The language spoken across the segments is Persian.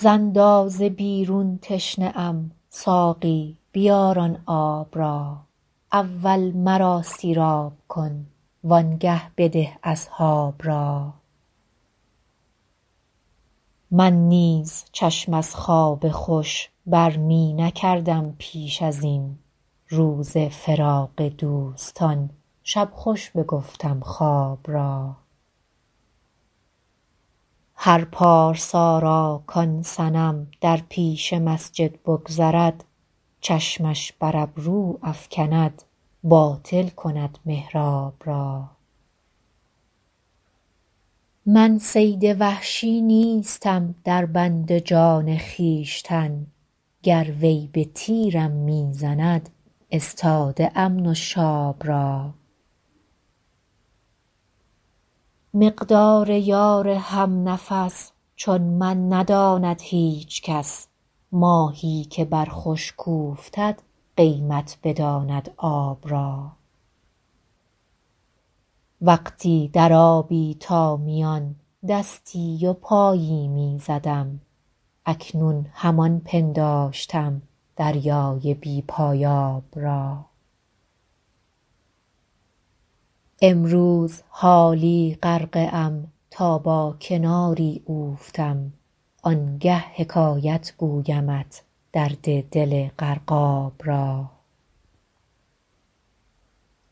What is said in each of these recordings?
ز اندازه بیرون تشنه ام ساقی بیار آن آب را اول مرا سیراب کن وآنگه بده اصحاب را من نیز چشم از خواب خوش بر می نکردم پیش از این روز فراق دوستان شب خوش بگفتم خواب را هر پارسا را کآن صنم در پیش مسجد بگذرد چشمش بر ابرو افکند باطل کند محراب را من صید وحشی نیستم در بند جان خویشتن گر وی به تیرم می زند استاده ام نشاب را مقدار یار هم نفس چون من نداند هیچ کس ماهی که بر خشک اوفتد قیمت بداند آب را وقتی در آبی تا میان دستی و پایی می زدم اکنون همان پنداشتم دریای بی پایاب را امروز حالا غرقه ام تا با کناری اوفتم آنگه حکایت گویمت درد دل غرقاب را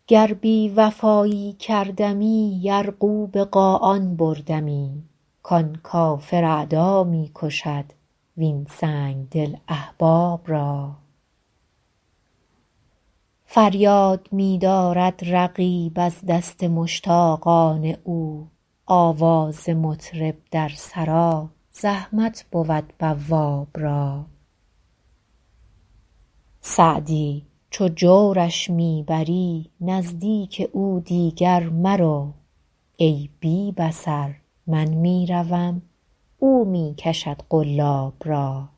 گر بی وفایی کردمی یرغو به قاآن بردمی کآن کافر اعدا می کشد وین سنگدل احباب را فریاد می دارد رقیب از دست مشتاقان او آواز مطرب در سرا زحمت بود بواب را سعدی چو جورش می بری نزدیک او دیگر مرو ای بی بصر من می روم او می کشد قلاب را